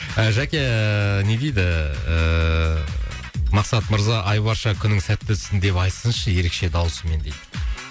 ы жәке ыыы не дейді ыыы мақсат мырза айбарша күнің сәтті өтсін деп айтсыншы ерекше дауысымен дейді